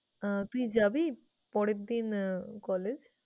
আহ তুই যাবি পরের আহ দিন collage?